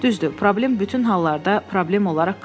Düzdür, problem bütün hallarda problem olaraq qalır.